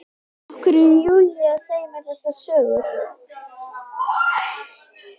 Af hverju er Júlía að segja mér þessar sögur?